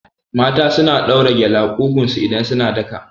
Mata suna ɗaura gele a ƙugun su idan suna daka